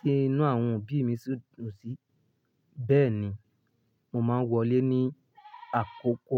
tí inú àwọn òbí mi sì dùn sí. Bẹ́ẹ̀ ni, mo máa ń wọlé ní àkókò.